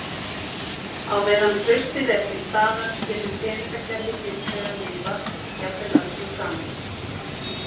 Á meðan traustið er til staðar getur peningakerfi hins vegar lifað, jafnvel öldum saman.